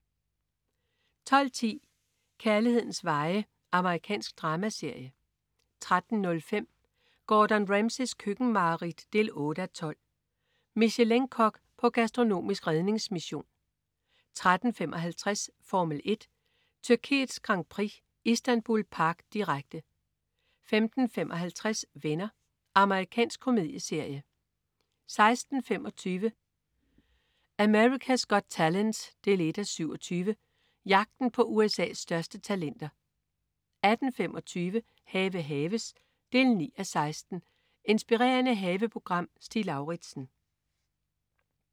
12.10 Kærlighedens veje. Amerikansk dramaserie 13.05 Gordon Ramsays køkkenmareridt 8:12. Michelin-kok på gastronomisk redningsmission 13.55 Formel 1: Tyrkiets Grand Prix. Istanbul Park. Direkte 15.55 Venner. Amerikansk komedieserie 16.25 America's Got Talent 1:27. Jagten på USA's største talenter 18.25 Have haves 9:16. Inspirerende haveprogram. Stig Lauritsen